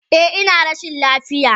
Eh, ina rashin lafiya.